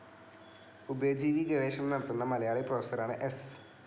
ഉഭയജീവി ഗവേഷണം നടത്തുന്ന മലയാളി പ്രൊഫസറാണ് സ്‌